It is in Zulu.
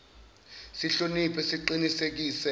sihloni phe siqinisekise